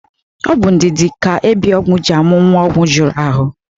Ọ bụ ndidi ka ebiogwu ji amụ nwa ogwu juru ahụ.